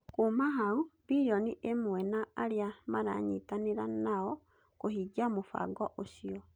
Kuuma hau, bilioni ĩmwe na arĩa maranyitanĩra nao kũhingia mũbango ũcio